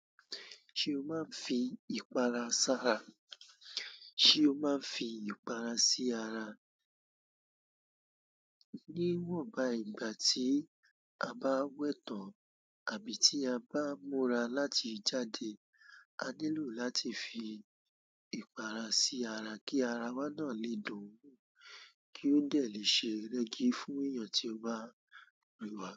Ṣé o máa ń fi ìpara sára? Sé o máa ń fi ìpara sí ara? Níwọ̀n ba ìgbà tí a bá wẹ tán àbí tí a bá múra láti jáde, a nílò láti fi ìpara sí ara kí ara wa náà lè dùn wo, kí ó dà lè ṣe rẹ́gí fún èèyàn tí ó bá rí wa.